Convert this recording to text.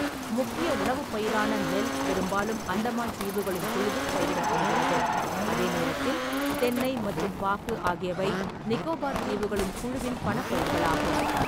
முக்கிய உணவுப் பயிரான நெல் பெரும்பாலும் அந்தமான் தீவுகளின் குழுவில் பயிரிடப்படுகிறது, அதே நேரத்தில் தென்னை மற்றும் பாக்கு ஆகியவை நிக்கோபார் தீவுகளின் குழுவின் பணப்பயிர்களாகும்.